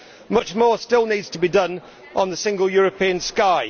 Much more still needs to be done on the single European sky.